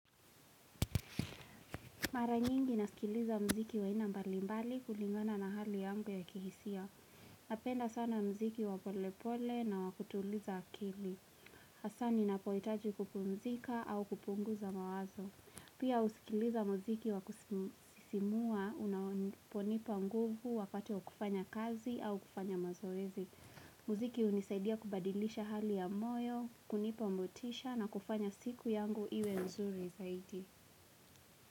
Mara nyingi nasikiliza muziki wa aina mbali mbali kulingana na hali yangu ya kihisia. Napenda sana muziki wa pole pole na wa kutuliza akili. Hasa ninapohitaji kupumzika au kupunguza mawazo. Pia husikiliza muziki wa kusisimua unaponipa nguvu wakati wa kufanya kazi au kufanya mazoezi. Muziki hunisaidia kubadilisha hali ya moyo, kunipa motisha na kufanya siku yangu iwe nzuri zaidi.